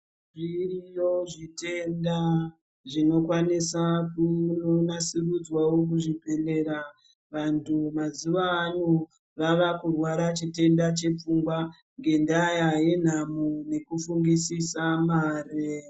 Zviriyo zvitenda zvinokwanisa kunasirudzwawo muzvibhedhleya, vantu mazuvano vava kurwara chitenda chepfungwa ngendaa yenhamo yekufungisisa mare.